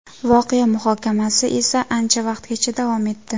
Voqea muhokamasi esa ancha vaqtgacha davom etdi.